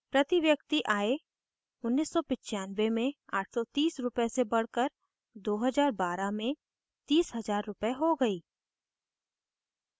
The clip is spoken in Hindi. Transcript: प्रति व्यक्ति आय 1995 में 830 रूपए से बढ़कर 2012 में 30000 रूपए हो गयी